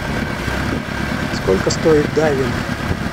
сколько стоит дайвинг